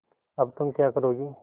अब तुम क्या करोगी